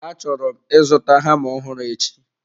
Achọrọ m ịzụta hama ọhụrụ echi.